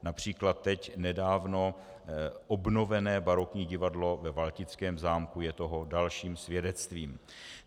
Například teď nedávno obnovené barokní divadlo ve Valtickém zámku je toho dalším svědectvím.